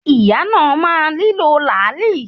Ìyàwó náà máa nílò làálì.